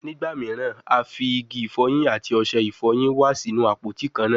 Nigba miiran, a fi igi ifoyin ati ose ifoyin wa sinu apoti kanna